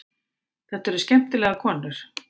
Þetta eru skemmtilegar konur.